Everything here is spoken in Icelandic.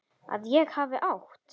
Að ég hafi átt?